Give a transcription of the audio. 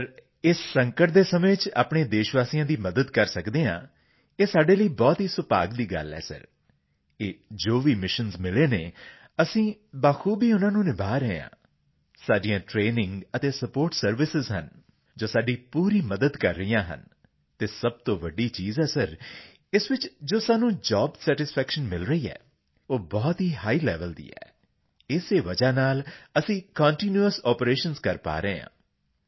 GRP CPT sir ਇਸ ਸੰਕਟ ਦੇ ਸਮੇਂ ਵਿੱਚ ਸਾਡੇ ਦੇਸ਼ਵਾਸੀਆਂ ਦੀ ਮਦਦ ਕਰ ਸਕਦੇ ਹਾਂ ਇਹ ਸਾਡੇ ਲਈ ਬਹੁਤ ਹੀ ਸੁਭਾਗ ਦੀ ਗੱਲ ਹੈ ਸਰ ਅਤੇ ਇਹ ਜੋ ਵੀ ਮਿਸ਼ਨਜ਼ ਮਿਲੇ ਹਨ ਅਸੀਂ ਬਾਖੂਬੀ ਉਨ੍ਹਾਂ ਨੂੰ ਨਿਭਾ ਰਹੇ ਹਾਂ ਸਾਡੀਆਂ ਟਰੇਨਿੰਗ ਅਤੇ ਸਪੋਰਟ ਸਰਵਿਸਾਂ ਜੋ ਹਨ ਸਾਡੀ ਪੂਰੀ ਮਦਦ ਕਰ ਰਹੀਆਂ ਹਨ ਅਤੇ ਸਭ ਤੋਂ ਵੱਡੀ ਚੀਜ਼ ਹੈ ਸਰ ਇਸ ਵਿੱਚ ਜੋ ਸਾਨੂੰ ਜੋਬ ਸੈਟਿਸਫੈਕਸ਼ਨ ਮਿਲ ਰਹੀ ਹੈ ਉਹ ਬਹੁਤ ਹੀ ਹਾਈ ਲੇਵਲ ਦੀ ਹੈ ਇਸੇ ਵਜ੍ਹਾ ਨਾਲ ਅਸੀਂ ਕੰਟੀਨਿਊਅਸ ਆਪਰੇਸ਼ਨਜ਼ ਕਰ ਪਾ ਰਹੇ ਹਾਂ